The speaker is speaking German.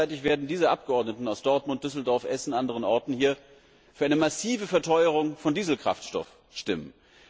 Gleichzeitig werden diese Abgeordneten aus Dortmund, Düsseldorf, Essen und anderen Orten hier für eine massive Verteuerung von Dieselkraftstoff stimmen.